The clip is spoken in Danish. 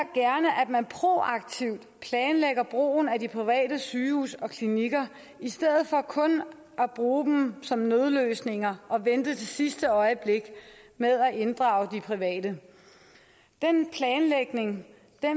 man proaktivt planlægger brugen af de private sygehuse og klinikker i stedet for kun at bruge dem som nødløsninger og vente til sidste øjeblik med at inddrage de private den planlægning